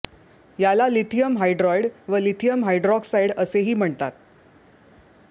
याला lithium hydride व lithium hydroxide असेही म्हणतात